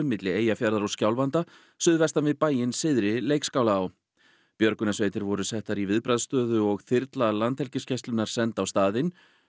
milli Eyjafjarðar og Skjálfanda suðvestan við bæinn Syðri Leikskálaá björgunarsveitir voru settar í viðbragðsstöðu og þyrla Landhelgisgæslunnar var send á staðinn